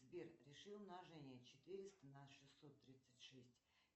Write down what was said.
сбер реши умножение четыреста на шестьсот тридцать шесть